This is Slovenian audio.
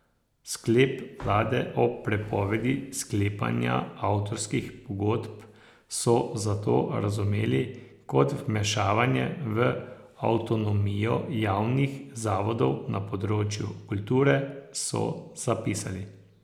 Sklep vlade o prepovedi sklepanja avtorskih pogodb so zato razumeli kot vmešavanje v avtonomijo javnih zavodov na področju kulture, so zapisali.